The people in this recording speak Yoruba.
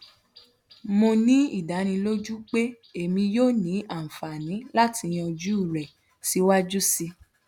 mo ni idaniloju pe emi yoo ni anfani lati yanju rẹ siwaju sii